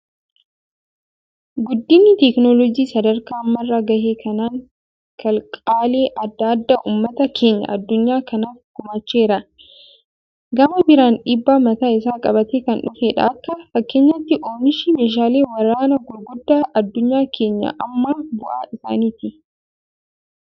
Guddinni teekinooloojii sadarkaa amma irra gahe kanaan, kalaqaalee addaa addaa uummata keenya adunyaa kanaaf gumaacheera. Gama biraan dhiibbaa mataa isaa qabatee kan dhufedha. Akka fakkeenyaatti oomishni meeshaalee waraanaa gurguddaa adunyaa keenya ammaa bu'aa isaaniiti.